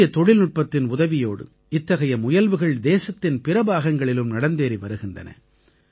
புதிய தொழில்நுட்பத்தின் உதவியோடு இத்தகைய முயல்வுகள் தேசத்தின் பிற பாகங்களிலும் நடந்தேறி வருகின்றன